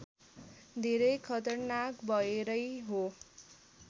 धेरै खतरनाक भएरै हो